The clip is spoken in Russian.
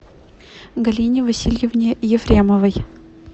галине васильевне ефремовой